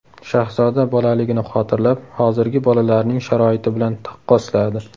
Shahzoda bolaligini xotirlab, hozirgi bolalarning sharoiti bilan taqqosladi.